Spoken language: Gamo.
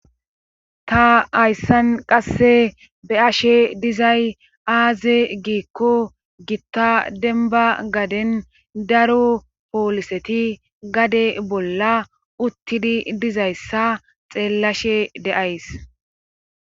Ta hayssan qasse be ashe dizay aaze giikko gitta denba gaden daro pooliseti gade bolla uttidi dizayssa xeellashe deays.